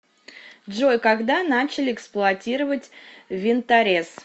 джой когда начали эксплуатировать винторез